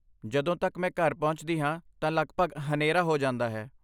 ਜਦੋਂ ਤੱਕ ਮੈਂ ਘਰ ਪਹੁੰਚਦੀ ਹਾਂ, ਤਾਂ ਲਗਭਗ ਹਨੇਰਾ ਹੋ ਜਾਂਦਾ ਹੈ।